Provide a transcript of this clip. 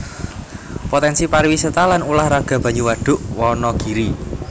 Potènsi pariwisata lan ulah raga banyu Wadhuk Wanagiri